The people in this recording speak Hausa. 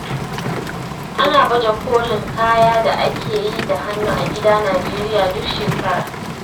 Ana baje-kolin kayan da aka yi da hannu a gida Nijeriya duk shekara.